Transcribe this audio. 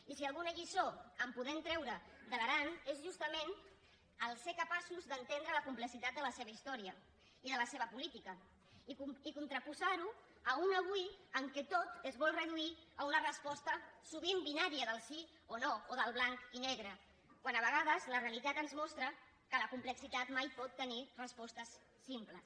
i si alguna lliçó podem treure de l’aran és justament ser capaços d’entendre la complexitat de la seva història i de la seva política i contraposar ho a un avui en què tot es vol reduir a una resposta sovint binària del sí o no o del banc i negre quan a vegades la realitat ens mostra que la complexitat mai pot tenir respostes simples